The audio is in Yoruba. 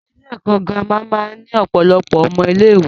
Ilé ẹ̀kọ́ girama máa ń ní ọ̀pọ̀lọpọ̀ ọmọ ilé ìwé.